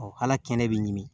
hal'a kɛnɛ bɛ ɲimi